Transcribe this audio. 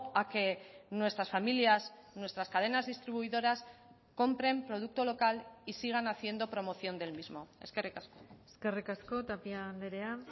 a que nuestras familias nuestras cadenas distribuidoras compren producto local y sigan haciendo promoción del mismo eskerrik asko eskerrik asko tapia andrea